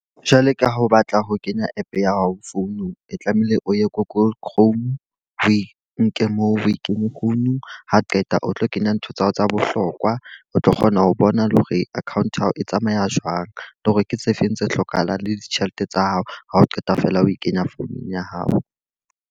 Jwale ka ha o batla ho kenya app ya hao founung, e tlamehile o ye google chrome. O e nke moo, we kenye founung. Ha qeta o tlo kenya ntho tsa hao tsa bohlokwa, o tlo kgona ho bona le hore account ya hao e tsamaya jwang. Le hore ke tse feng tse hlokahalang le ditjhelete tsa hao. Ha o qeta feela o e kenya founung ya hao.